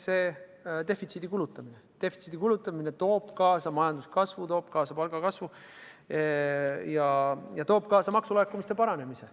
Defitsiidi kulutamine toob kaasa majanduskasvu, toob kaasa palgakasvu ja toob kaasa maksulaekumiste paranemise.